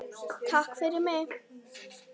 Takk fyrir mig.